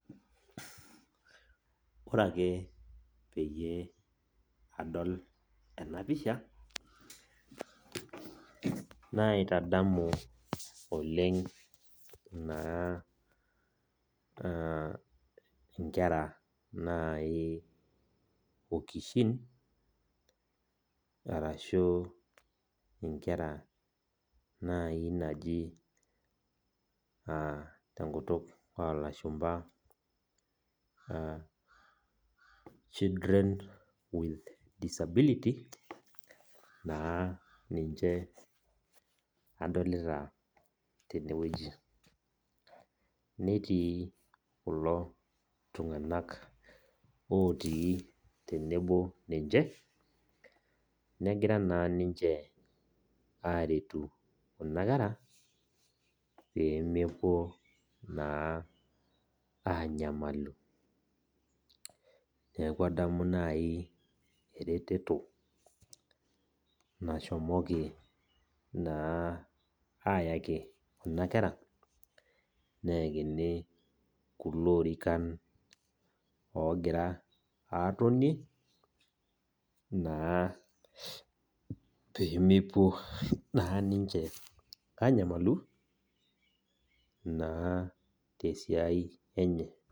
Ore ake peyie adol enapisha, naitadamu oleng naa inkera nai okishin, arashu inkera nai naaji tenkutuk olashumpa children with disability, naa ninche adolita tenewueji. Netii kulo tung'anak otii tenebo ninche, negira naa ninche aretu kuna kera, pemepuo naa anyamalu. Neeku adamu nai ereteto nashomoki naa ayaki kuna kera, neekini kulo orikan ogira atonie, naa pemepuo naa ninche anyamalu, naa tesiai enye.